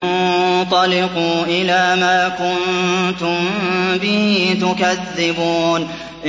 انطَلِقُوا إِلَىٰ مَا كُنتُم بِهِ تُكَذِّبُونَ